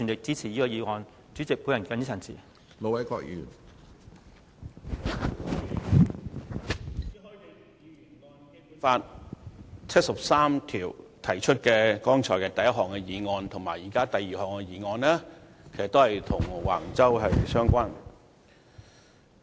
朱凱廸議員根據《基本法》第七十三條提出的第一項議案，以及現在的第二項議案，其實也與橫洲有關。